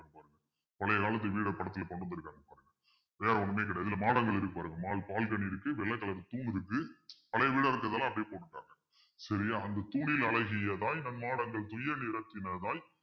பழைய காலத்து வீட்டை படத்துல கொண்டு வந்திருக்காங்க வேற ஒண்ணுமே கிடையாது இதுல model இருக்கு பாருங்க மால் பால்கனி இருக்கு வெள்ளை colour தூணு இருக்கு பழைய வீட இருக்கிறதால்ல அப்பிடியே போட்டுட்டாங்க சரியா அந்த அழகிய தாய் நம் மாடங்கள் துயரில் இடத்தினதாய்